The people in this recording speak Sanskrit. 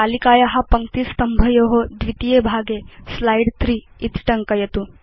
तालिकाया पङ्क्तिस्तंभयो द्वितीये स्लाइड् 3 इति टङ्कयतु